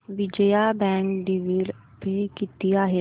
Vijaya bank dividend pay किती आहे